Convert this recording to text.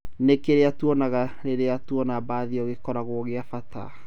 "Nĩ kĩrĩa twĩkaga rĩrĩa twona bathi ĩyo gĩkoragwo gĩa bata"